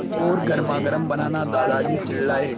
मीठी और गर्मागर्म बनाना दादाजी चिल्लाए